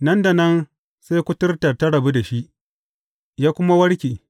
Nan da nan, sai kuturtar ta rabu da shi, ya kuma warke.